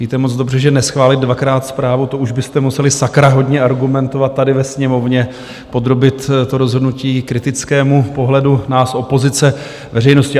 Víte moc dobře, že neschválit dvakrát zprávu, to už byste museli sakra hodně argumentovat tady ve Sněmovně, podrobit to rozhodnutí kritickému pohledu nás opozice, veřejnosti.